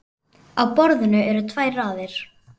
Á borðinu eru tvær raðir.